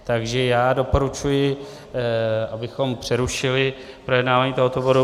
Takže já doporučuji, abychom přerušili projednávání tohoto bodu.